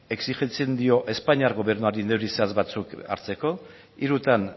exijitzen dio espainiar gobernuari neurri zehatz batzuk hartzeko hirutan